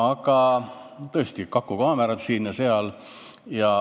Aga tõesti, kakukaamerad on siin ja seal.